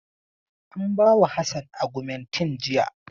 An bawa Hassan agumentin jiya.